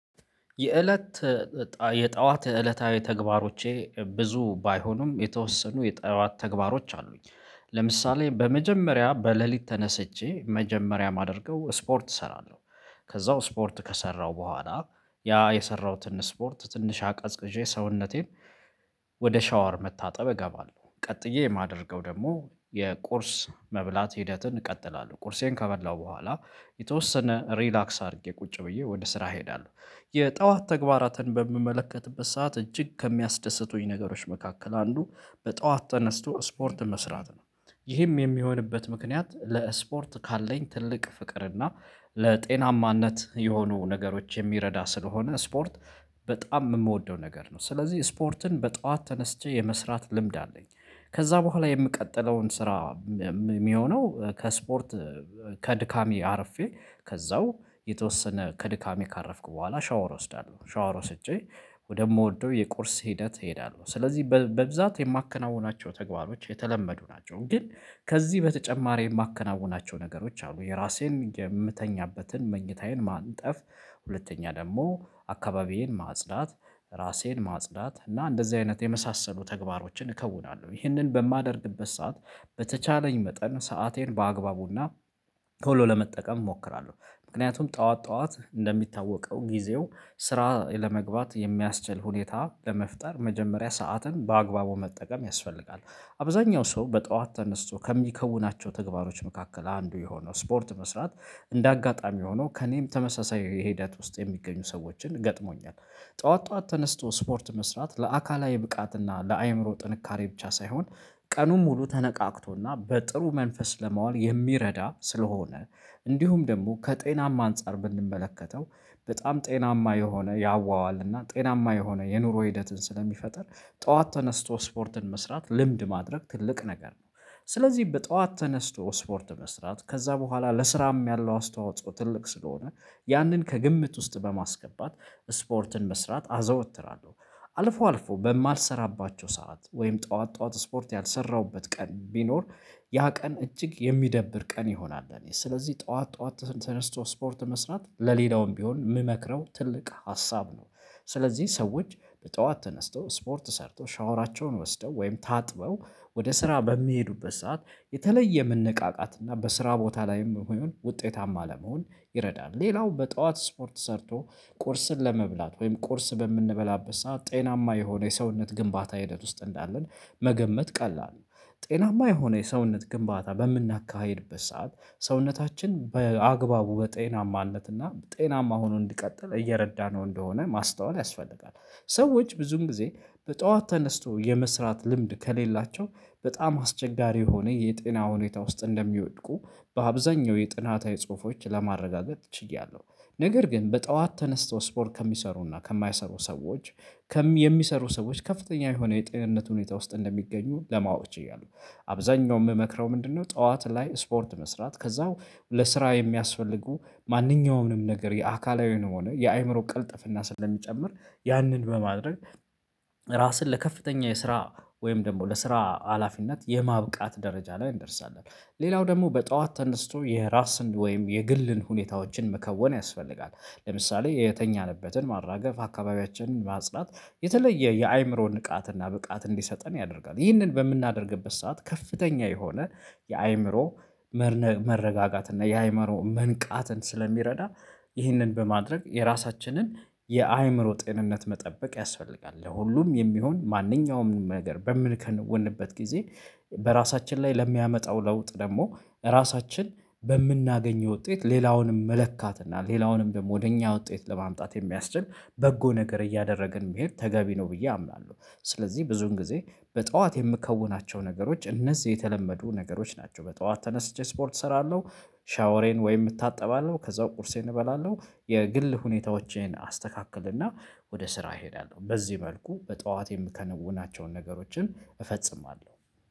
የእለት የጠዋት የእለታዊ ተግባሮቼ ብዙ ባይሆኑም የተወሰኑ የጠዋት ተግባሮች አሉኝ። ለምሳሌ በመጀመሪያ በሌሊት ተነስቼ መጀመሪያ የማደርገው ስፖርት እሰራለሁ። ከዛው ስፖርት ከሰራው በኋላ ያ የሰራሁትን ስፖርት ትንሽ አቀዝቅዤ ሰውነቴን ወደ ሻወር መታጠብ እገባለሁ። ቀጥዬ የማደርገው ደግሞ የቁርስ መብላት ሂደትን እቀጥላለሁ ቁርሴን ከበላሁ በኋላ የተወሰነ ሪላክስ አድርጌ ቁጭ ብዬ ወደ ስራ እሄዳለሁ። የጠዋት ተግባራትን በምመለከትበት ሰዓት እጅግ ከሚያስደስቱኝ ነገሮች መካከል አንዱ በጠዋት ተነስቶ ስፖርት መስራት ነው። ይህም የሚሆንበት ምክንያት ለስፖርት ካለኝ ትልቅ ፍቅርና ለጤናማነት የሆኑ ነገሮች የሚረዳ ስለሆነ ስፖርት በጣም የምወደው ነገር ነው። ስለዚህ ስፖርትን በጧት ተነስቼ የመስራት ልምድ አለኝ። ከዛ በኋላ የምቀጥለውን ስራ። የሚሆነው ከስፖርት ከድካሜ አርፌ ከዛው የተወሰነ ከድካሜ ካረፍኩ በኋላ ሻወር እወስዳለሁ ሻወር ወስጄ ወደምወደው የቁርስ ሂደት እሄዳለሁ። ስለዚህ በብዛት የማከናውናቸው ተግባሮች የተለመዱ ናቸው። ግን ከዚህ በተጨማሪ የማከናውናቸው ነገሮች አሉ። የራሴን የምተኛበትን መኝታዬን ማንጠፍ ሁለተኛ ደግሞ አካባቢዬን ማጽዳት ራሴን ማጽዳት እና እንደዚህ አይነት የመሳሰሉ ተግባሮችን እከውናለሁ። ይህንን በማደርግበት ሰዓት በተቻለኝ መጠን ሰአቴን በአግባቡና ቶሎ ለመጠቀም እሞክራለሁ። ምክንያቱም ጠዋት ጠዋት እንደሚታወቀው ጊዜው ስራ ለመግባት የሚያስችል ሁኔታ ለመፍጠር መጀመሪያ ሰዓትን በአግባቡ መጠቀም ያስፈልጋል። አብዛኛው ሰው በጧት ተነስቶ ከሚከውናቸው ተግባሮች መካከል አንዱ የሆነው ስፖርት መስራት እንደ አጋጣሚ ሆኖ ከእኔም ተመሳሳይ ሂደት ውስጥ የሚገኙ ሰዎችን ገጥሞኛል። ጠዋት ጠዋት ተነስቶ ስፖርት መስራት ለአካላዊ ብቃት እና ለአእምሮ ጥንካሬ ብቻ ሳይሆን ቀኑን ሙሉ ተነቃቅቶና በጥሩ መንፈስ ለማዋል የሚረዳ ስለሆነ። እንዲሁም ደግሞ ከጤናማ አንፃር ብንመለከተው በጣም ጤናማ የሆነ ያዋዋልና ጤናማ የሆነ የኑሮ ሂደትን ስለሚፈጥር። ጠዋት ተነስቶ ስፖርትን መስራት ልምድ ማድረግ ትልቅ ነገር ነው። ስለዚህ በጠዋት ተነስቶ ስፖርት መስራት ከዛ በኋላ ለስራም ያለው አስተዋጽኦ ትልቅ ስለሆነ ያንን ከግምት ውስጥ በማስገባት ስፖርትን መስራት አዘወትራለሁ። አልፎ አልፎ በማልሰራባቸው ሰዓት ወይም ጠዋት ጠዋት ስፖርት ያልሰራሁበት ቀን ቢኖር። ያ ቀን እጅግ የሚደብር ቀን ይሆናል። ለእኔ ስለዚህ ጠዋት ጠዋት ተነስቶ ስፖርት መስራት ለሌላውም ቢሆን የምመክረው ትልቅ ሀሳብ ነው። ስለዚህ ሰዎች በጠዋት ተነስተው ስፖርት ሰርተው ሻወራቸውን ወስደው ወይም ታጥበው ወደ ስራ በሚሄዱበት ሰዓት የተለየ መነቃቃትና በስራ ቦታ ላይም ይሁን ውጤታማ ለመሆን ይረዳል። ሌላው በጧት ስፖርት ሰርቶ ቁርስን ለመብላት ወይም ቁርስ በምንበላበት ሰዓት ጤናማ የሆነ የሰውነት ግንባታ ሂደት ውስጥ እንዳለን። መገመት ቀላል ነው። ጤናማ የሆነ የሰውነት ግንባታ በምናካሂድበት ሰዓት ሰውነታችን በአግባቡ በጤናማነት እና ጤናማ ሆኖ እንዲቀጥል እየረዳነው እንደሆነ ማስተዋል ያስፈልጋል። ሰዎች ብዙን ጊዜ በጠዋት ተነስቶ የመስራት ልምድ ከሌላቸው በጣም አስቸጋሪ የሆነ የጤና ሁኔታ ውስጥ እንደሚወድቁ በአብዛኛው የጥናታዊ ጽሁፎች ለማረጋገጥ ችያለሁ። ነገር ግን በጠዋት ተነስቶ ስፖርት ከሚሰሩና ከማይሰሩ ሰዎች። የሚሰሩ ሰዎች ከፍተኛ የሆነ የጤንነት ሁኔታ ውስጥ እንደሚገኙ ለማወቅ እችላለሁ። አብዛኛው የምመክረው ምንድነው? ጠዋት ላይ ስፖርት መስራት ከዛው ለስራ የሚያስፈልጉ ማንኛውም ነገር የአካላዊ የሆነ የአእምሮ ቅልጥፍና ስለሚጨምር። ያንን በማድረግ ራስን ለከፍተኛ የስራ ወይም ደግሞ ለስራ ሀላፊነት የማብቃት ደረጃ ላይ እንደርሳለን። ሌላው ደግሞ በጧት ተነስቶ የራስን ወይም የግልን ሁኔታዎችን መከወን ያስፈልጋል። ለምሳሌ የተኛንበትን ማራገፍ አካባቢያችንን ማጽዳት የተለየ የአእምሮ ንቃትና ብቃት እንዲሰጠን ያደርጋል። ይህንን በምናደርግበት ሰዓት ከፍተኛ የሆነ የአእምሮ መረጋጋትና እና የአእምሮ መንቃትን ስለሚረዳ። ይህንን በማድረግ የራሳችንን የአእምሮ ጤንነት መጠበቅ ያስፈልጋል። ለሁሉም የሚሆን ማንኛውም ነገር በምንከወንበት ጊዜ። በራሳችን ላይ ለሚያመጣው ለውጥ ደግሞ ራሳችን በምናገኘው ውጤት ሌላውንም መለካትና ሌላውንም ደግሞ ወደ እኛ ውጤት ለማምጣት የሚያስችል በጎ ነገር እያደረግን መሄድ ተገቢ ነው ብዬ አምናለሁ። ስለዚህ ብዙን ጊዜ በጠዋት የምከውናቸው ነገሮች እነዚህ የተለመዱ ነገሮች ናቸው። በጠዋት ተነስቼ ስፖርት እሰራለሁ። ሻወሬን ወይም እታጠባለሁ ከዛም ቁርሴን እበላለሁ። የግል ሁኔታዎቼን አስተካክልና ወደ ስራ እሄዳለሁ። በዚህ መልኩ በጠዋቴ የምከነውናቸውን ነገሮችን እፈጽማለሁ።